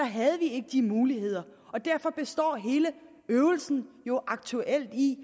havde vi ikke de muligheder og derfor består hele øvelsen jo aktuelt i